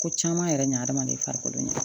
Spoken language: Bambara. Ko caman yɛrɛ ɲinɛna adamaden farikolo